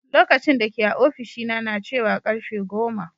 Lokacin dake a ofishina na cewa karfe goma.